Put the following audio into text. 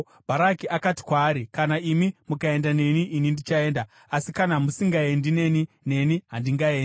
Bharaki akati kwaari, “Kana imi mukaenda neni, ini ndichaenda; asi kana musingaendi neni, neni handingaendi.”